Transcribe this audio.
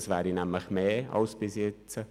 Es wäre mehr als bis jetzt.